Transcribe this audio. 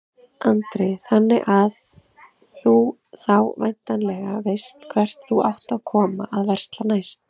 Andri: Þannig að þú þá væntanlega veist hvert þú átt að koma að versla næst?